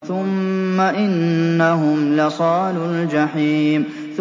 ثُمَّ إِنَّهُمْ لَصَالُو الْجَحِيمِ